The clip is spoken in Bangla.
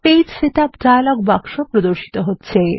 পেজ সেটআপ ডায়লগ বাক্স প্রদর্শিত হচ্ছে